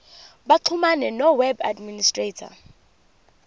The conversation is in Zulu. baxhumane noweb administrator